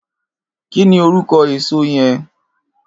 Kini órúkò ésó yèn?